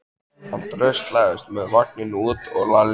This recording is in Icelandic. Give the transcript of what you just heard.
Hann dröslaðist með vagninn út og Lalli elti.